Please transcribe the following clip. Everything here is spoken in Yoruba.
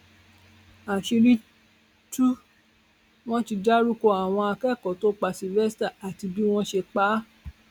àṣírí tú wọn ti dárúkọ àwọn akẹkọọ tó pa sylvester àti bí wọn ṣe pa á